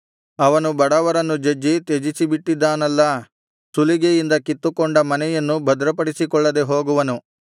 ಅವನು ಬಡವರನ್ನು ಜಜ್ಜಿ ತ್ಯಜಿಸಿಬಿಟ್ಟಿದ್ದಾನಲ್ಲಾ ಸುಲಿಗೆಯಿಂದ ಕಿತ್ತುಕೊಂಡ ಮನೆಯನ್ನು ಭದ್ರಪಡಿಸಿಕೊಳ್ಳದೆ ಹೋಗುವನು